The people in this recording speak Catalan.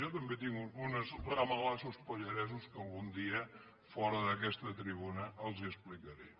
jo també tinc uns ramalassos pallaresos que algun dia fora d’aquesta tribuna els hi explicaré